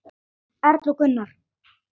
Erla og Gunnar.